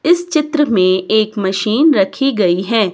इस चित्र में एक मशीन रखी गई है।